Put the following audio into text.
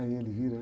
Aí ele vira.